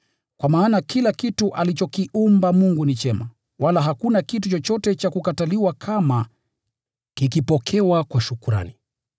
Kwa maana kila kitu alichokiumba Mungu ni chema, wala hakuna kitu chochote cha kukataliwa kama kikipokewa kwa shukrani,